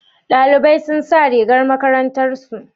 Dalibai sun sa rigar makarantar su?